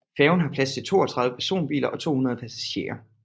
Færgen har plads til 32 personbiler og 200 passagerer